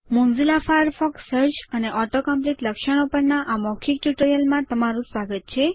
Mozilla Firefox search અને auto complete લક્ષણો પરના આ મૌખિક ટ્યુટોરીયલમાં તમારું સ્વાગત છે